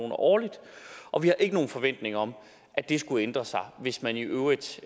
årligt og vi har ikke nogen forventning om at det skulle ændre sig hvis man i øvrigt